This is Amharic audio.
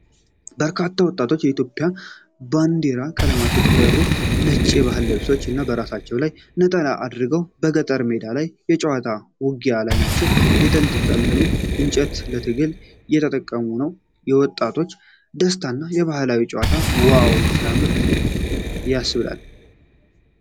በርካታ ወጣቶች የኢትዮጵያ ባንዲራ ቀለሞች በተሰፉበት ነጭ ባህላዊ ልብስ እና በራሳቸው ላይ ነጠላ አድርገው በገጠር ሜዳ ላይ የጨዋታ ውጊያ ላይ ናቸው። የተንጠለጠሉ እንጨቶችን ለትግል እየተጠቀሙ ነው። የወጣቶቹ ደስታ እና ባህላዊ ጨዋታቸው 'ዋው ሲያምር'!!! ያስብላል።